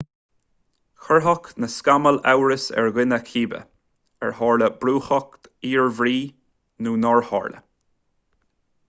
chuirfeadh na scamaill amhras ar dhuine cibé ar tharla brúchtadh iarbhír nó nár tharla